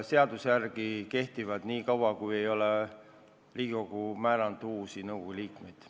Seaduse järgi kehtivad volitused nii kaua, kui Riigikogu ei ole määranud uusi nõukogu liikmeid.